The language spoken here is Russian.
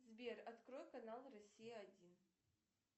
сбер открой канал россия один